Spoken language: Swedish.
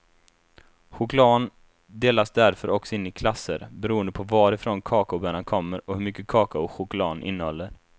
Chokladen delas därför också in i klasser, beroende på varifrån kakaobönan kommer och hur mycket kakao chokladen innehåller.